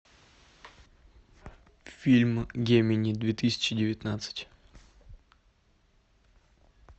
фильм гемини две тысячи девятнадцать